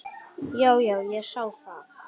Já, já, ég sá það.